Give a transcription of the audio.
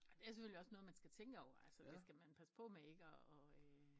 Ja det er selvfølgelig også noget man skal tænke over altså det skal man passe på med ikke og